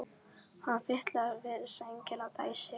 Hann fitlar við sængina og dæsir.